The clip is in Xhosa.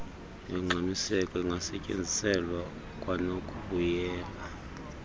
yongxamiseko ingasetyenziselwa kwanokubuyela